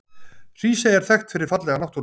Hrísey er þekkt fyrir fallega náttúru.